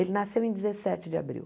Ele nasceu em dezessete de abril.